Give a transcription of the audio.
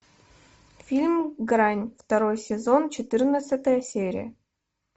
фильм грань второй сезон четырнадцатая серия